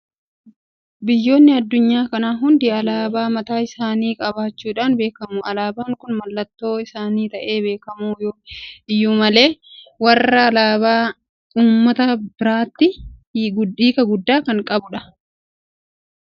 Biyyoonni addunyaa kanaa hundi alaabaa mataa isaanii qabaachuudhaan beekamu. Alaabaan kun mallattoo isaanii ta'ee haabeekamu iyyuu malee warreen alaabaa kana uummatan biratti hiika guddaa qaba. Hiikti kunis haala dhufaatii yookiin qabsoo uummatichaa ibsuu waanta danda'uuf biyya sanatti akka mallattoo bilisummaattis ilaalamuu danda'a.